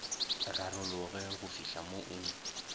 rarologe go fihla mo o